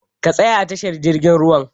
Ka tsaya a tashar jirgin ruwan!